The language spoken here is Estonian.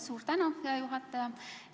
Suur tänu, hea juhataja!